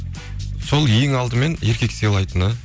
сол ең алдымен еркекті сыйлайтыны